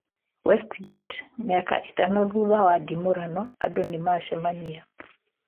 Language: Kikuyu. Westgate:Mĩaka ĩtano thutha wa ndimũrano andũ nĩmacemania